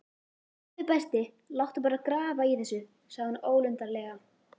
Góði besti, láttu bara grafa í þessu sagði hún ólundarlega.